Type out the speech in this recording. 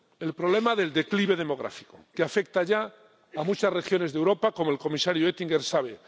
El problema del declive demográfico, que afecta ya a muchas regiones de Europa, como el comisario Oettinger sabe.